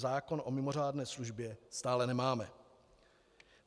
zákon o mimořádné službě stále nemáme.